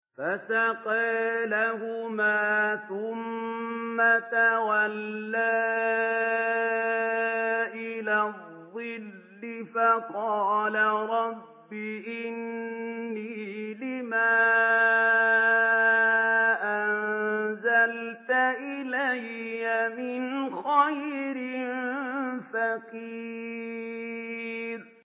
فَسَقَىٰ لَهُمَا ثُمَّ تَوَلَّىٰ إِلَى الظِّلِّ فَقَالَ رَبِّ إِنِّي لِمَا أَنزَلْتَ إِلَيَّ مِنْ خَيْرٍ فَقِيرٌ